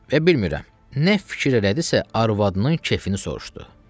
Və bilmirəm, nə fikir elədisə, arvadının kefini soruşdu.